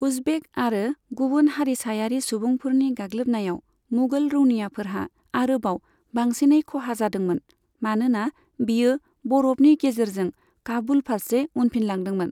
उजबेक आरो गुबुन हारिसायारि सुबुंफोरनि गाग्लोबनायाव मुगल रौनियाफोरहा आरोबाव बांसिनै खहा जादोंमोन, मानोना बियो बरफनि गेजेरजों काबुल फारसे उनफिनलांदोंमोन।